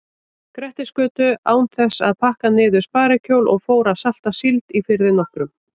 Grettisgötu án þess að pakka niður sparikjól og fór að salta síld í firði nokkrum.